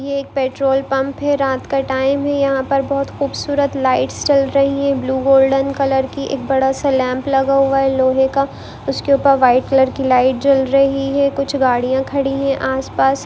ये एक petrol pump है रात का टाइम है यहाँ पर बहुत खूबसूरत लाइट्स जल रही है ब्लू गोल्डन कलर की एक बड़ा सा लैंप लगा हुआ है लोहे का उसके ऊपर वाइट कलर की लाइट जल रही है कुछ गाड़िया खड़ी है आस-पास।